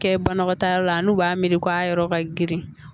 Kɛ banakɔtaa yɔrɔ la n'u b'a miiri ko a yɔrɔ ka girin